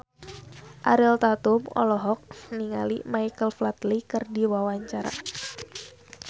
Ariel Tatum olohok ningali Michael Flatley keur diwawancara